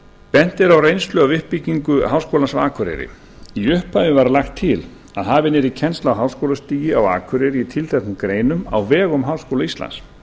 bent er á reynslu af uppbyggingu háskólans á akureyri í upphafi var lagt til að hafin yrði kennsla á háskólastigi á akureyri í tilteknum greinum á vegum háskóla íslands